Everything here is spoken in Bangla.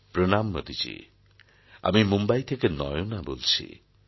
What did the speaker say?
প্রণাম মোদিজী আমি মুম্বই থেকে নয়না বলছি